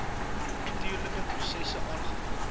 natuurlike prosesse aangevul